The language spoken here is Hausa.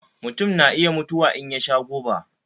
Mutun na iya mutuwa in ya sha guba.